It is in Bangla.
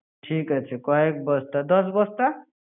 ঠিক কয়েক বস্তা, দশ বস্তা?